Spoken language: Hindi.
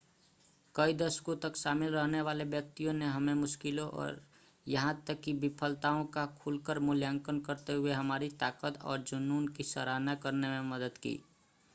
कई दशकों तक शामिल रहने वाले व्यक्तियों ने हमें मुश्किलों और यहाँ तक ​​कि विफलताओं का खुलकर मूल्यांकन करते हुए हमारी ताकत और जुनून की सराहना करने में मदद की